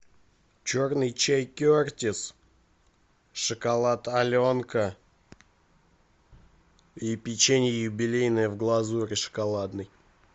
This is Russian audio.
черный чай кертис шоколад аленка и печенье юбилейное в глазури шоколадной